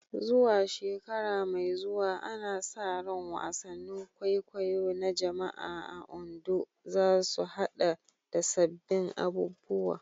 Zuwa shekara mai zuwa, ana sa ran wasannin kwaikwayo na jama'a a Ondo za su haɗa da sabbin abubuwa